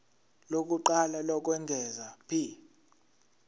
lokuqala lokwengeza p